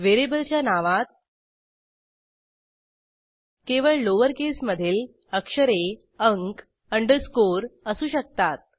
व्हेरिएबलच्या नावात केवळ लोअर केसमधील अक्षरे अंक अंडरस्कोर असू शकतात